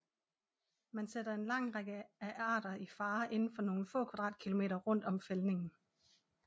Man sætter en lang række af arter i fare inden for nogle få kvadratkilometer rundt om fældningen